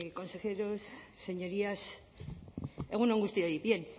consejeros señorías egun on guztioi bien